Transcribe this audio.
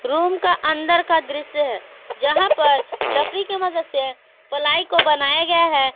Room का अंदर का दृश्य है जहां पर लकड़ी की मदद से पलाई को बनाया गया है।